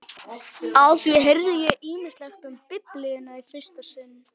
Á því heyrði ég ýmislegt um Biblíuna í fyrsta sinn.